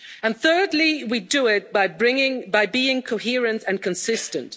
And thirdly, we do it by bringing by being coherent and consistent.